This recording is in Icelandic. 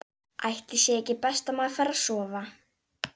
Ætli sé ekki best að maður fari að sofa.